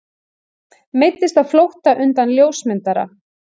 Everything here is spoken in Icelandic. Meiddist á flótta undan ljósmyndara